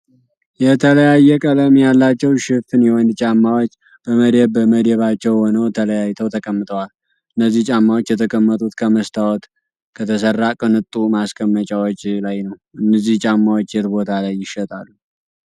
የተለያየ ቀለም ያላቸው ሽፍን የወንድ ጫማዎች በመደብ በመደባቸው ሆነው ተለያይተው ተቀምጠዋል። እነዚህ ጫማዎች የተቀመጡት ከመስታወት ከተሰራ ቅንጡ ማስቀመጫዎች ላይ ነው። እነዚህ ጫማዎች የት ቦታ ላይ ይሸጣሉ?